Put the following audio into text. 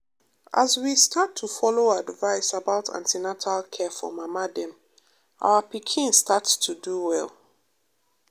as we start to follow advice about an ten atal care for mama dem our pikin start to do well.